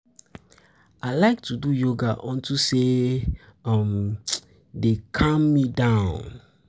I like to do yoga unto say e um dey calm me down